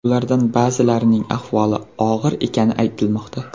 Ulardan ba’zilarining ahvoli og‘ir ekani aytilmoqda.